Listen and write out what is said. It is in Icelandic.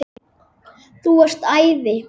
Þú varst æði.